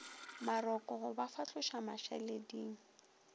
maroko go ba fahloša mašaleding